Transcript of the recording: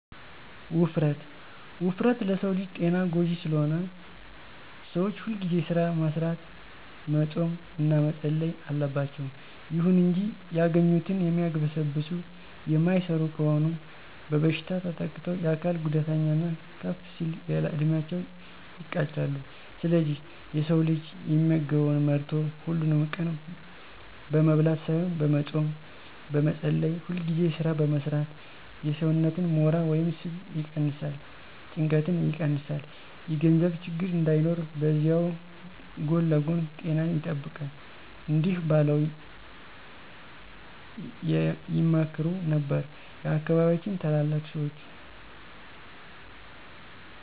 ውፍረት፦ ውፍረት ለሰው ልጅ ጤና ጎጂ ስለሆነ ሰዎች ሁልጊዜ ስራ መስራት፣ መፆም እና መፀለይ አለባቸው። ይሁን እንጂ ያገኙትን የሚያግበሰብሱ የማይሰሩ ከሆኑ በበሽታ ተጠቅተው የአካል ጉዳተኛ እና ከፍ ሲል ያለዕድሜያቸው ይቀጫሉ። ስለዚህ የሰው ልጅ የሚመገበውን መርጦ፣ ሀሉንም ቀን በመብላት ሳይሆን በመፆም፣ በመፀለይ፣ ሁልጊዜ ስራ በመስራት የሰውነትን ሞራ ወይም ስብ ይቀነስ፣ ጭንቀትን ይቀንሳል፣ የገንዘብ ችግር እንዳይኖር በዚያዉ ጎን ለጎን ጤናን ይጠብቃል። እዲህ በለዉ ይመክሩ ነበር የአካባቢያችን ታላላቅ ሰዎች።